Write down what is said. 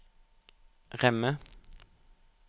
Remme